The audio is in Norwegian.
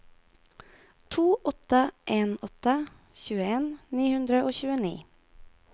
to åtte en åtte tjueen ni hundre og tjueni